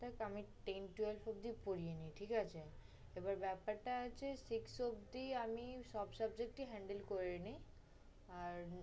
দেখ আমি ten, twelves পর্যন্ত পড়িয়ে নিই ঠিক আছে, এবার ব্যাপারটা হচ্ছে six অবধি আমি সব subject ই handle করে নিই, আর